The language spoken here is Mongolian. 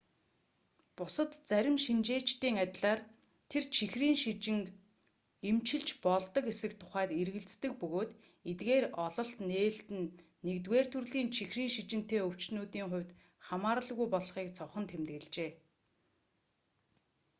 бусад зарим шинжээчдийн адилаар тэр чихрийн шижинг эмчилж болдог эсэх тухайд эргэлздэг бөгөөд эдгээр ололт нээлт нь 1-р төрлийн чихрийн шижинтэй өвчтөнүүдийн хувьд хамааралгүй болохыг цохон тэмдэглэжээ